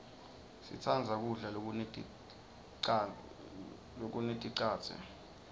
sitsandza kudla lokuneticadze